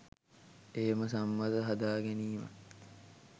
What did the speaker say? එහෙම සම්මත හදාගැනීමත්